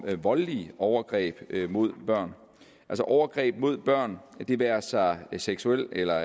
med voldelige overgreb mod børn overgreb mod børn det være sig af seksuel eller